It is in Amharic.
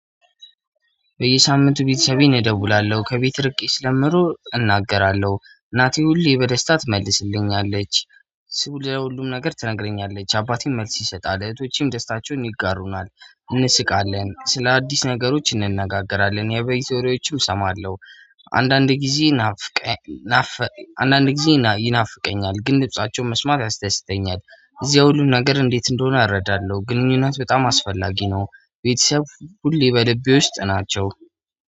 በየሳምንቱ ቤተሰቤን እደውላለሁ ከቤት ርቄ ስለምኖር እናገራለሁ እናቴ ሁሌ በደስታ ትመልስልኛለች። ቤተሰቡ ለሁሉም ነገር ትነግረኛለች አባቴም መልስ ይሰጣል እህቶቼም ደስታቸውን ይጋሩናል እንስቃለን ስለ አዲስ ነገሮች እንነጋገራለን የበይ ዘይሮዎቹም እሰማለሁ። አንዳንድ ጊዜ ናፍቀ ናፈ አንዳንድ ጊዜ ይናፍቀኛል ግን ድምፃቸውን መስማት ያስደስተኛል። እዚያ ሁሉ ነገር እንዴት እንደሆነ አረዳለሁ። ግንኙነት በጣም አስፈላጊ ነው። ቤተሰብ ሁሌ በልቤ ውስጥ ናቸው።